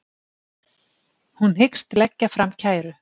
Hún hyggst leggja fram kæru